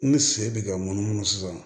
N bɛ segin bi ka munumunu sisan